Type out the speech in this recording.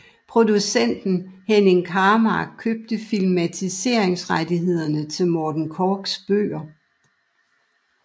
Producenten Henning Karmark købte filmatiseringsrettighederne til alle Morten Korchs bøger